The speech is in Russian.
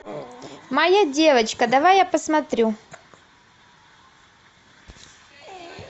моя девочка давай я посмотрю